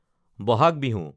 Bohag Bihu